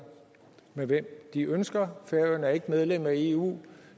med hvem de ønsker færøerne er ikke medlem af eu